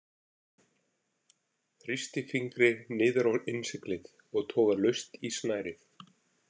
Þrýsti fingri niður á innsiglið og toga laust í snærið.